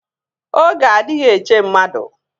Oge adịghị eche mmadụ